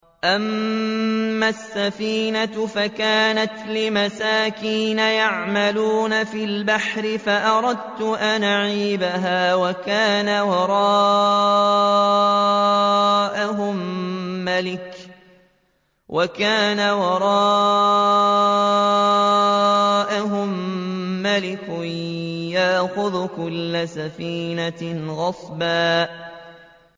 أَمَّا السَّفِينَةُ فَكَانَتْ لِمَسَاكِينَ يَعْمَلُونَ فِي الْبَحْرِ فَأَرَدتُّ أَنْ أَعِيبَهَا وَكَانَ وَرَاءَهُم مَّلِكٌ يَأْخُذُ كُلَّ سَفِينَةٍ غَصْبًا